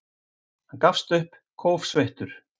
Hann gafst upp, kófsveittur.